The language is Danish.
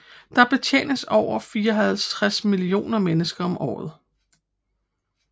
Der betjenes over 54 millioner mennesker om året